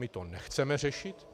My to nechceme řešit.